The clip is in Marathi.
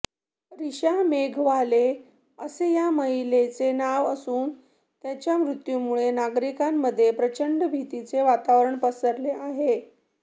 रिशा मेघवाले असे या महिलेचे नाव असून त्यांच्या मृत्यूमुळे नागरिकांमध्ये प्रचंड भीतीचे वातावरण पसरले आहे